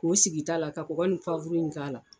K'o sigi ta la ka kɔgɔ ni k'a la.